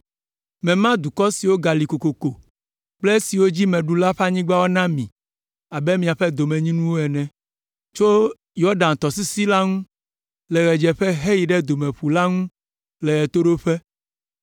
Mema dukɔ siwo gali kokoko kple esiwo dzi meɖu la ƒe anyigbawo na mi abe miaƒe domenyinu ene, tso Yɔdan tɔsisi la ŋu le ɣedzeƒe heyi Domeƒu la ŋu le ɣetoɖoƒe.